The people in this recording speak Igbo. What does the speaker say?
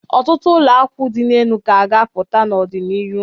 Ọtụtụ ụlọakwụ dị enu ka a ga-apụta n'ọdị n'iru.